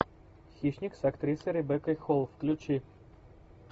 хищник с актрисой ребеккой холл включи